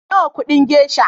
Nawa kudin gesha?